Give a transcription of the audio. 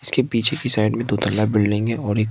इसके पीछे की साइड में धुंधला बिल्डिंग है और एक--